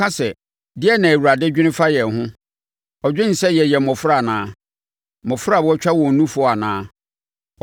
Wɔka sɛ, “Deɛn na Awurade dwene fa yɛn ho? Ɔdwen sɛ yɛyɛ mmɔfra anaa? Mmɔfra a wɔatwa wɔn nufoɔ anaa?